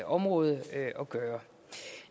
område at gøre